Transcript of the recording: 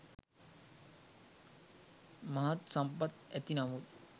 මහත් සම්පත් ඇති නමුත්